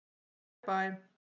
Bæ bæ!